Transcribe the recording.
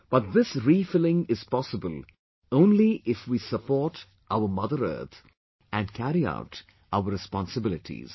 But, this refilling is possible only if we support our mother earth and carry out our responsibilities